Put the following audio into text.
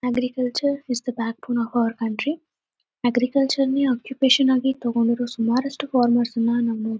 agriculture is the backbone of our country agriculture ನೆ occupation ಆಗಿ ತಗೊಂಡಿರೋ ಸುಮಾರಷ್ಟು ಫಾರ್ಮರ್ಸ್ ನ್ನ ನಾವು ನೋ--